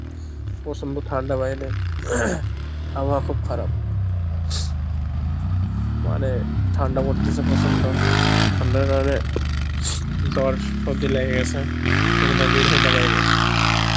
প্রচন্ড ঠান্ডা বাইরে আবহাওয়া খুব খারাপ, মানে ঠান্ডা পরতেসে প্রচন্ড ঠান্ডার র এ জোর সর্দি লেগে গেসে এই জন্যে বের হইনা বাইরে